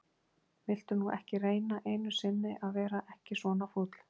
viltu nú ekki reyna einu sinni að vera ekki svona fúll!